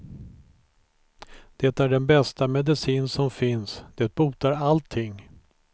Det är den bästa medicin som finns, det botar allting.